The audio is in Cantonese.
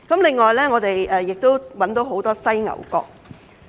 另外，我們亦檢獲很多犀牛角。